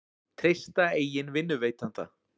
Treysta eigin vinnuveitanda